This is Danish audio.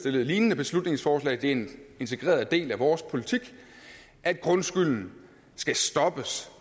et lignende beslutningsforslag det er en integreret del af vores politik at grundskylden skal stoppes